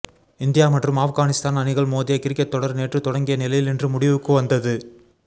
India மற்றும் ஆப்கானிஸ்தான் அணிகள் மோதிய கிரிக்கெட் தொடர் நேற்று தொடங்கிய நிலையில் இன்று முடிவுக்கு வந்தது